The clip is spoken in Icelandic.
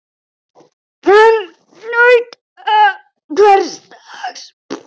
Hann naut hvers dags.